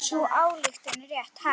Sú ályktun er rétt.